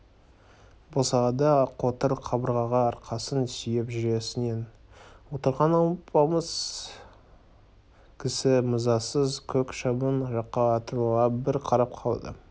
босағада қотыр қабырғаға арқасын сүйеп жүресінен отырған алпамса кісі мазасыз көк шыбын жаққа атырыла бір қарап қалды